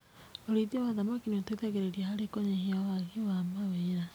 Ũrĩithia wa thamaki nĩ ũteithagĩrĩria harĩ kũnyihia waagi wa mawĩra.